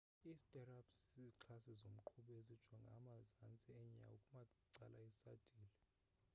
i stirrups zizixhasi zomqhubi ezijinga emazantsi enyawo kumacala esadile